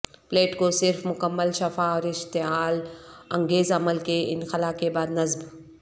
plate کو صرف مکمل شفا اور اشتعال انگیز عمل کے انخلا کے بعد نصب